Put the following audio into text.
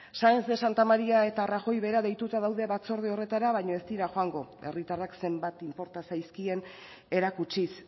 saenz de santamaria eta rajoy bera deituta daude batzorde horretara baina ez dira joango herritarrak zenbat inporta zaizkien erakutsiz